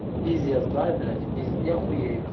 пиздец да блять пиз я хуею